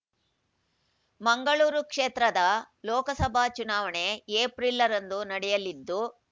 ಮಂಗಳೂರು ಕ್ಷೇತ್ರದ ಲೋಕಸಭಾ ಚುನಾವಣೆ ಎಪ್ರಿಲ್ ರಂದು ನಡೆಯಲಿದ್ದು